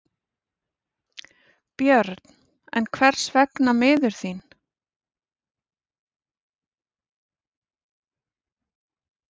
Björn: En hvers vegna miður þín?